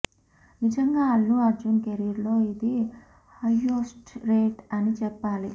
నిజంగా అల్లు అర్జున్ కెరీర్ లో ఇది హయ్యెస్ట్ రేట్ అని చెప్పాలి